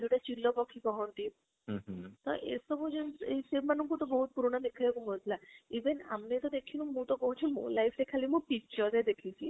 ଯୋଉଟା ଚିଲ ପାଖି କହନ୍ତି ତ ଏଇ ସବୁ ଜିନିଷ ସେମାଙ୍କୁ ତ ବହୁତ ପୁରୁଣା ଦେଖିବାକୁ ମିଳୁଥିଲା even ଆମେ ତ ଦେଖିନୁ ମୁଁ କହୁଛି ମୋ life ରେ ମୁଁ ଖାଲି picture ରେ ଦେଖିଛି